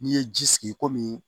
N'i ye ji sigi i komi